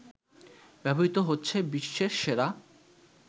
ব্যবহৃত হচ্ছে বিশ্বের সেরা